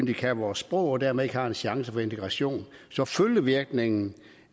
de kan vores sprog og dermed har de ikke en chance for integration så følgevirkningen